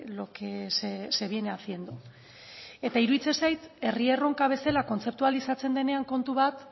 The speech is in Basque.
lo que se viene haciendo eta iruditzen zait herri erronka bezala kontzeptualizatzen denean kontu bat